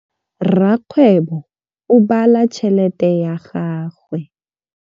Rakgwêbô o bala tšheletê ya gagwe.